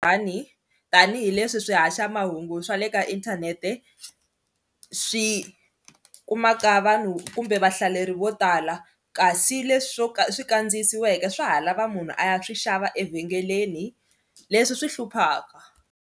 tanihileswi swihaxamahungu swa le ka inthanete swi kumaka vanhu kumbe vahlaleri vo tala kasi leswi swo ka swi kandziyisiweke swa ha lava munhu a ya swi xava evhengeleni leswi swi hluphaka.